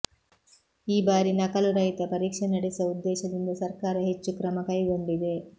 ಈ ಬಾರಿ ನಕಲು ರಹಿತ ಪರೀಕ್ಷೆ ನಡೆಸುವ ಉದ್ದೇಶದಿಂದ ಸರ್ಕಾರ ಹೆಚ್ಚು ಕ್ರಮ ಕೈಗೊಂಡಿದೆ